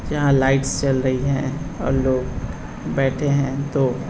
यहाँ लाइट्स जल रही है और लोग बैठे है तो --